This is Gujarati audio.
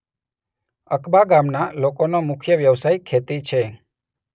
અકબા ગામના લોકોનો મુખ્ય વ્યવસાય ખેતી છે.